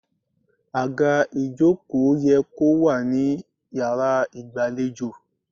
Àga ìjókòó ye kó wà ní yàrá ìgbàlejò.